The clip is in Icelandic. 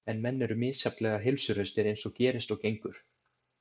En menn eru misjafnlega heilsuhraustir eins og gerist og gengur.